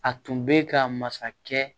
A tun bɛ ka masakɛ